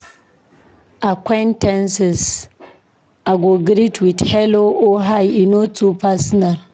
Acquaintances, I go greet with "Hello" or "Hi," e no too personal.